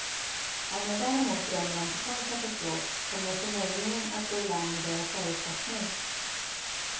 Om jag däremot drömmer om total katastrof, kommer jag förmodligen att gå i land med det jag föresatt mig.